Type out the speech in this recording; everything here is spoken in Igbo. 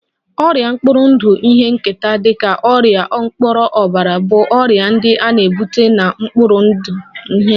Ọrịa mkpụrụ ndụ ihe nketa dị ka ọrịa ọkpọnọbara bụ ọrịa ndị a na-ebu na mkpụrụ ndụ ihe nketa